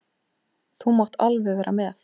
Þú mátt alveg vera með.